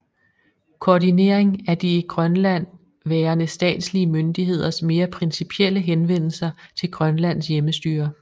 Koordinering af de i Grønland værende statslige myndigheders mere principielle henvendelser til Grønlands hjemmestyre